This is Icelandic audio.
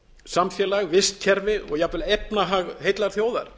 samfélag vistkerfi og jafnvel efnahag heillar þjóðar